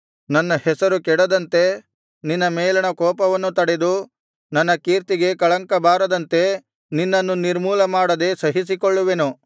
ನನ್ನ ಹೆಸರು ಕೆಡದಂತೆ ನಿನ್ನ ಮೇಲಣ ಕೋಪವನ್ನು ತಡೆದು ನನ್ನ ಕೀರ್ತಿಗೆ ಕಳಂಕ ಬಾರದಂತೆ ನಿನ್ನನ್ನು ನಿರ್ಮೂಲಮಾಡದೆ ಸಹಿಸಿಕೊಳ್ಳುವೆನು